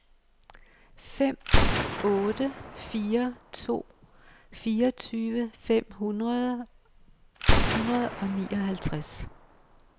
fem otte fire to fireogtyve fem hundrede og nioghalvtreds